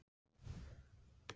Maja, spilaðu tónlist.